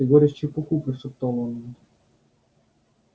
ты говоришь чепуху прошептала он